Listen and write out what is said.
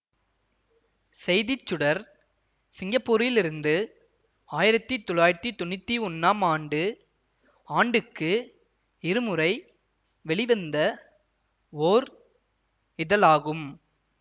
செய்திச்சுடர் சிங்கப்பூரிலிருந்து ஆயிரத்தி தொள்ளாயிரத்தி தொன்னூத்தி ஒன்னாம் ஆண்டு ஆண்டுக்கு இருமுறை வெளிவந்த ஓர் இதழாகும்